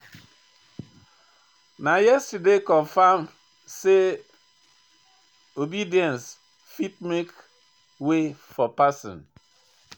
Na yesterday I confirm sey obedience fit make way for pesin.